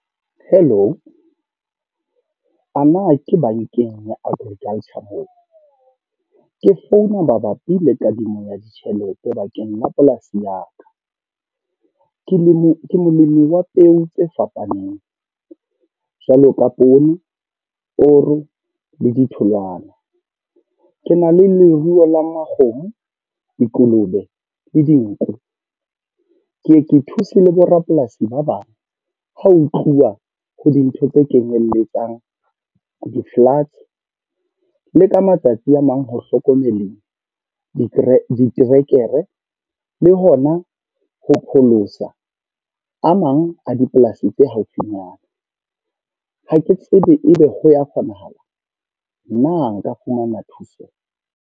Hello. Ana ke bankeng ya Agriculture mona? Ke founa mabapi le kadimo ya ditjhelete bakeng la polasi ya ka. Ke le, ke molemi wa peo tse fapaneng. Jwalo ka poone, koro le ditholwana. Ke na le leruo la makgomo, dikolobe, le dinku. Ke ye ke thuse le borapolasi ba bang. Ha ho tluwa ho dintho tse kenyelletsang di-floods, le ka matsatsi a mang ho hlokomele diterekere. Le hona ho pholosa a mang a dipolasi tse haufinyana. Ha ke tsebe ebe ho ya kgonahala. Na nka fumana thuso?